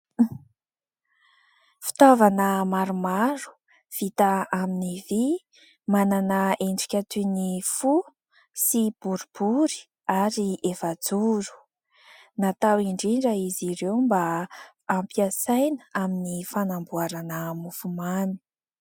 Fitaovana maromaro vita amin'ny vy manana endrika toy ny fo sy boribory ary efajoro. Natao indrindra izy ireo mba ampiasaina amin'ny fanamboarana mofomamy.